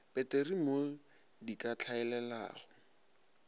peteri mo di ka hlaelelago